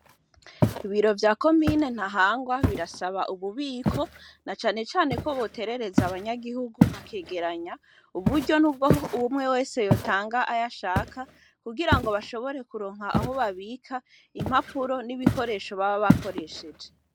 Ibiro vya ko mine ntahangwa birasaba ububiko na canecane ko boterereza abanyagihugu bakegeranya uburyo niubwo wumwe wese yotanga aya shaka kugira ngo bashobore kuronka aho babika impapuro n'ibikoresho baba bakoresheje.